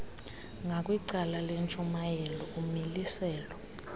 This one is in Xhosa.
ngakwicala lentshayelelo umiliselo